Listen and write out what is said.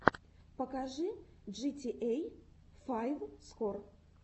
покажи джитиэй файв скор